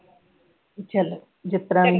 ਚਲੋ ਜਿਸ ਤਰਾਂ ਰਹਿਣਾ